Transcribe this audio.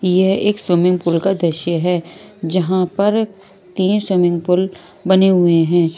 यह एक swimming pool का दृश्य है जहां पर तीन स्विमिंग पूल बने हुए हैं।